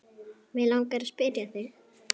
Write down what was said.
Mig langar að spyrja þig.